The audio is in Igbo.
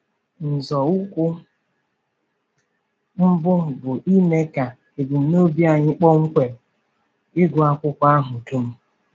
Nzọụkwụ mbụ bụ ime ka ebumnobi anyị kpọmkwem — ịgụ akwụkwọ ahụ dum.